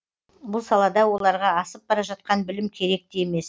бұл салада оларға асып бара жатқан білім керек те емес